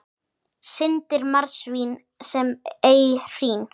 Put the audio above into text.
Syndir marsvín sem ei hrín.